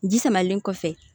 Ji samalen kɔfɛ